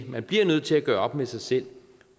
man bliver nødt til at gøre op med sig selv